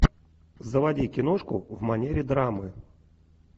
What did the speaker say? заводи киношку в манере драмы